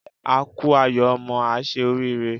A kú ayọ̀ ọmọ, á ṣe oríire.